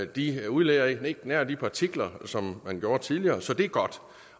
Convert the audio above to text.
de udleder ikke nær det antal partikler som man gjorde tidligere så det er godt